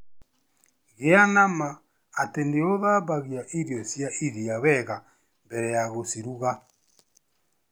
Gĩa na ma atĩ nĩ ũthambagia irio cia iria wega mbere ya gũciruga.